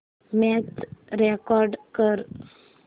match record कर